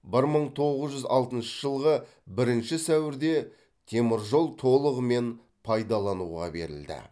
бір мың тоғыз жүз алтыншы жылғы бірінші сәуірде теміржол толығымен пайдалануға берілді